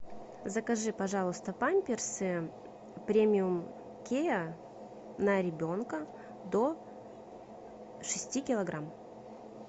закажи пожалуйста памперсы премиум кеа на ребенка до шести килограмм